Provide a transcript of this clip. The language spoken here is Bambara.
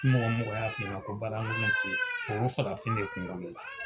Ni mɔgɔ mɔgɔ y'a f'i ɲɛna ko baara kolon te yen o ye farafin de kunkolo la